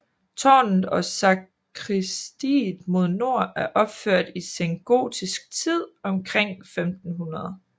Tårnet og sakristiet mod nord er opført i sengotisk tid omkring 1500